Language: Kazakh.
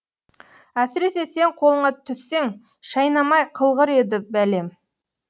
әсіресе сен қолыңа түссең шайнамай қылғыр еді бәлем